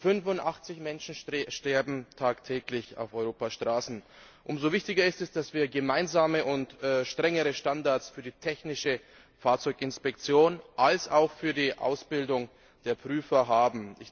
85Menschen sterben tagtäglich auf Europas Straßen. Umso wichtiger ist es, dass wir gemeinsame und strengere Standards sowohl für die technische Fahrzeuginspektion als auch für die Ausbildung der Prüfer haben.